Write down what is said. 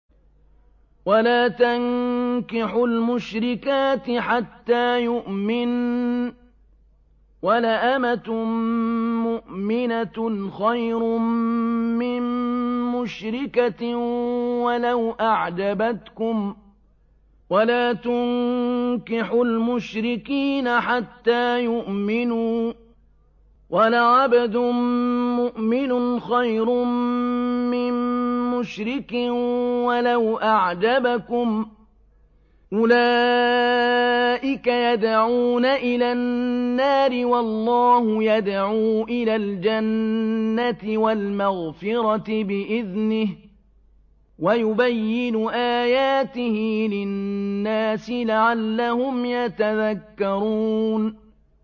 وَلَا تَنكِحُوا الْمُشْرِكَاتِ حَتَّىٰ يُؤْمِنَّ ۚ وَلَأَمَةٌ مُّؤْمِنَةٌ خَيْرٌ مِّن مُّشْرِكَةٍ وَلَوْ أَعْجَبَتْكُمْ ۗ وَلَا تُنكِحُوا الْمُشْرِكِينَ حَتَّىٰ يُؤْمِنُوا ۚ وَلَعَبْدٌ مُّؤْمِنٌ خَيْرٌ مِّن مُّشْرِكٍ وَلَوْ أَعْجَبَكُمْ ۗ أُولَٰئِكَ يَدْعُونَ إِلَى النَّارِ ۖ وَاللَّهُ يَدْعُو إِلَى الْجَنَّةِ وَالْمَغْفِرَةِ بِإِذْنِهِ ۖ وَيُبَيِّنُ آيَاتِهِ لِلنَّاسِ لَعَلَّهُمْ يَتَذَكَّرُونَ